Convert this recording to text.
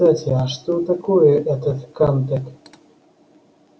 кстати а что такое этот камтек